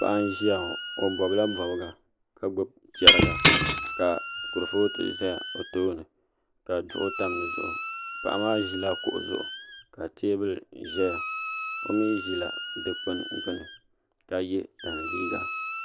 Paɣa n ʒiya ŋo o bobla bobga ka gbubi chɛriga ka kurifooti ʒɛ o tooni ka duɣu tam di zuɣu paɣa maa ʒila kuɣu zuɣu ka teebuli ʒɛya o mii ʒila Dikpuni gbuni ka yɛ tani liiga